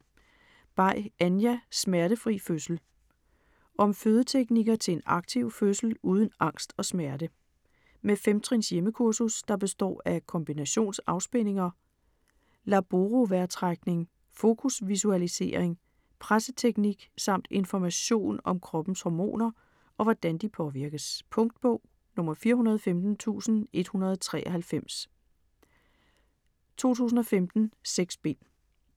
Bay, Anja: Smertefri fødsel Om fødeteknikker til en aktiv fødsel uden angst og smerte. Med femtrins hjemmekursus, der består af kombinationsafspændinger, laborovejrtrækning, fokusvisualisering, presseteknik, samt information om kroppens hormoner og hvordan de påvirkes. Punktbog 415193 2015. 6 bind.